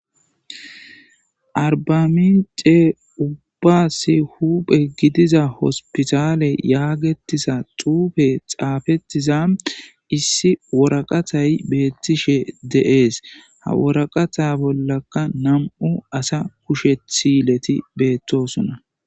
arbamince ubba si huphe gidiza hospitaale yaagetisa xuufe xaafetiza issi woraqatay beettishe de'es ha woraqata bollaka nam7u asa kushethileti beettosunna